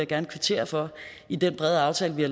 gerne kvittere for i den brede aftale vi